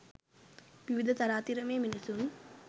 විවිධ තරාතිරමේ මිනිසුන්